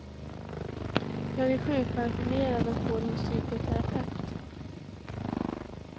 Jag är sjukpensionerad och går hos psykoterapeut.